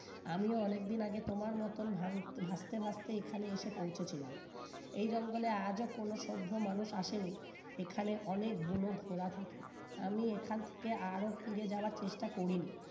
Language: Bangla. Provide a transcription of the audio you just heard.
আমি অনেকদিন আগে তোমার মত ভাং ভাবতে ভাবতে এখানে এসে পৌঁছেছিলাম এই জঙ্গলে আজও কোন সভ্য মানুষ আসেনি এখানে অনেক বুনো ঘোড়া থাকে আমি এখান থেকে আরো ফিরে যাওয়ার চেষ্টা করিনি